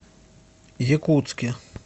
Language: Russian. якутске